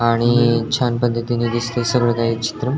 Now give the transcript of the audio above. आणि छान पध्दतीने दिसतय सर्व काही चित्रम.